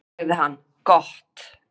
sagði hann: Gott.